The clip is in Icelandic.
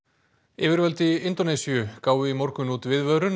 yfirvöld í Indónesíu gáfu í morgun út viðvörun